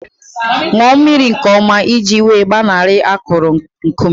Ṅụọ mmiri nke ọma iji wee gbanarị akụrụ nkume